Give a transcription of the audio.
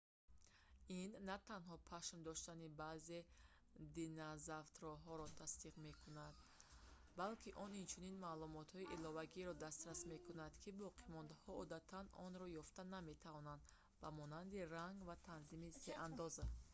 ин на танҳо пашм доштани баъзе динозавтрҳоро тасдиқ мекунад ин назария алакай ба таври васеъ паҳн шудааст балки он инчунин маълумотҳои иловагиеро дастрас мекунад ки боқимондаҳо одатан онро ёфта наметавонанд ба монанди ранг ва танзими сеандоза